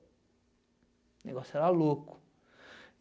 O negócio era louco.